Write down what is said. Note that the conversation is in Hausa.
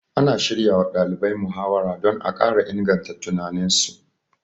Ana shiryawa ɗalibai muhawara don a ƙara inganta tunaninsu